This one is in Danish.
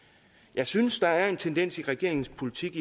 jeg synes der er en tendens i regeringens politik